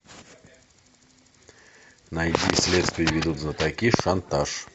найди следствие ведут знатоки шантаж